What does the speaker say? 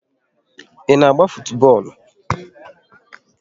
Ị na-agba futubọọlụ?